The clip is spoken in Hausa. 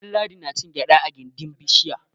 Ɗanladi na cin gyaɗa a gindin bishiya.